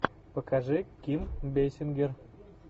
покажи ким бейсингер